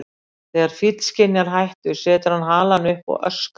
Þegar fíll skynjar hættu setur hann halann upp og öskrar.